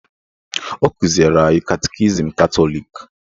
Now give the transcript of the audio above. Ọ kụziri anyị katikizim Katọlik